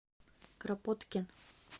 кропоткин